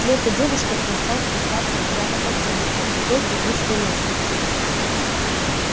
вслед за девушкой он стал спускаться куда то под землю по крутой и узкой лестнице